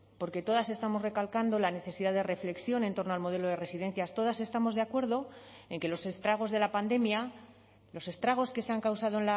porque todas estamos recalcando la necesidad de reflexión en torno al modelo de residencias todas estamos de acuerdo en que los estragos de la pandemia los estragos que se han causado